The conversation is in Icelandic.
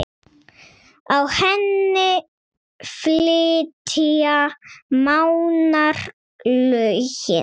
Á henni flytja Mánar lögin